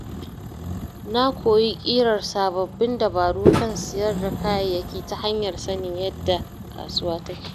Na koyi ƙirƙirar sabbin dabaru kan siyar da kayayyaki ta hanyar sanin yadda kasuwa take.